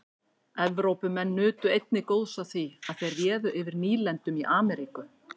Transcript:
evrópumenn nutu einnig góðs af því að þeir réðu yfir nýlendum í ameríku